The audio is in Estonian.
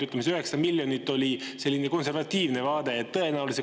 Ütleme, see 900 miljonit oli selline konservatiivne.